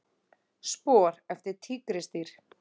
Spor eftir tígrisdýr.